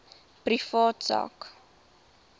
privaat sak